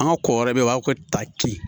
An ka ko wɛrɛ bɛ yen o b'a fɔ ko ta ci